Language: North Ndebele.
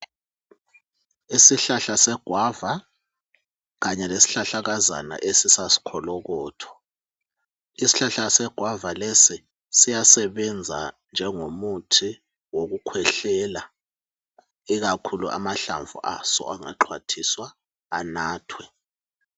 Isihlahla segwava kanye lesihlahlakazana esisakholokotho, isihlahla segwava lesi, siyasebenza njengomuthi wokukhwehlela ikakhulu amahlamvu aso angaxhwathiswa anathwe